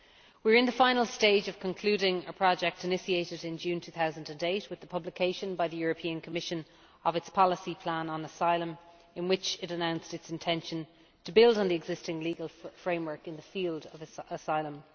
We are in the final stage of concluding a project initiated in June 2008 with the publication by the European Commission of its policy plan on asylum in which it announced its intention to build on the existing legal framework in the field of asylum.